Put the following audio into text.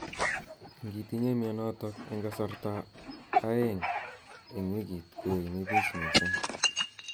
Ingitinye mnyenotok eng kasartab aeng eng wikit koimibich missing.